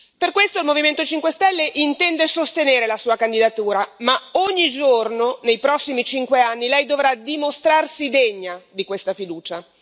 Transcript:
Per questo il Movimento 5 Stelle intende sostenere la Sua candidatura, ma ogni giorno nei prossimi cinque anni, Lei dovrà dimostrarsi degna di questa fiducia.